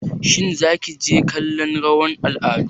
Shin Zaki je kallon rawar al'adu?